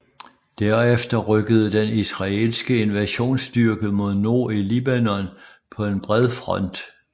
Derefter rykkede den israelske invasionsstyrke mod nord i Libanon på en bred front